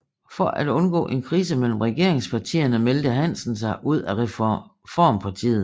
For at undgå en krise mellem regeringspartierne meldte Hansen sig ud af Reformpartiet